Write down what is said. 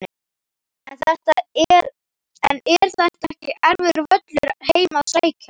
En er þetta ekki erfiður völlur heim að sækja?